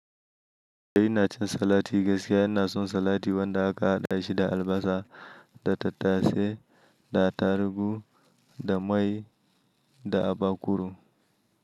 Ina cin salati gaskiya. Ina son salati wanda aka haɗa shi da albasa da tattasai, da atarugu, da mai da abakuru.